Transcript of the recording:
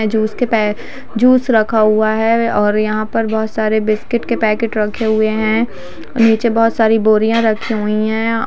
जो इसके पे जूस रखा हुआ है और यहाँ पर बहुत सारे बिस्किट के पैकेट रखे हुए नीचे बहुत सारी बोरिया रखी हुई हैं।